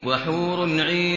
وَحُورٌ عِينٌ